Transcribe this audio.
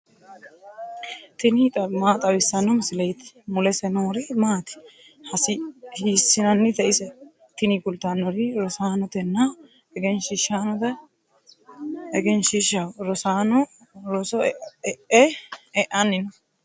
tini maa xawissanno misileeti ? mulese noori maati ? hiissinannite ise ? tini kultannori rosaanotenna egenshiishshaho. rosaano roso e"anni no.